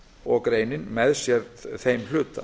og greinin með sér þeim hluta